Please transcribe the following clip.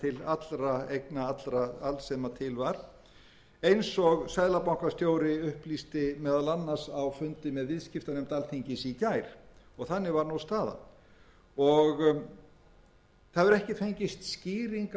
að byrja með heldur náði þetta til allra eigna alls sem til var eins og seðlabankastjóri upplýsti meðal annars á fundi með viðskiptanefnd alþingis í gær og þannig var nú staðan það hefur ekki fengist haldgóð skýring